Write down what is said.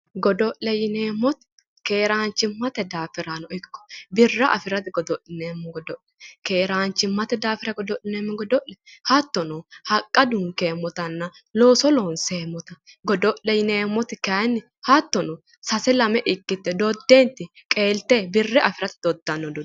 Godo'le yineemmoti keeraanchimmate daafirano ikko birra afirate godo'lineemmo godo'le keeraanchimmate godo'lineemmo godo'le hattono haqqa dunkeemmotanna Looso loonseemmota godo'le yineemmoti kayiinni hattono sase lame ikkite dodde qeelte birra afirate.